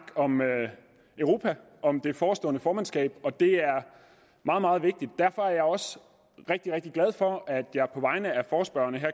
om europa og det forestående formandskab og det er meget meget vigtigt derfor er jeg også rigtig rigtig glad for at jeg på vegne af forespørgerne